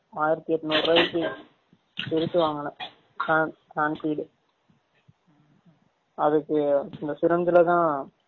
ஆயிரதி எட்னூரு ருவாய்க்கு சிருசு வாங்குனேன் hand hand feed அதுக்கு இந்த syringe ல தான்